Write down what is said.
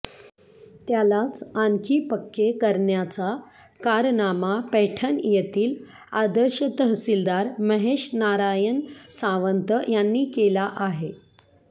त्यालाच आणखी पक्के करण्याचा कारनामा पैठण येथील आदर्श तहसीलदार महेश नारायण सावंत यांनी केला आहे